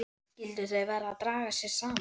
Skyldu þau vera að draga sig saman?